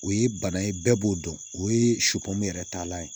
O ye bana ye bɛɛ b'o dɔn o ye yɛrɛ taalan ye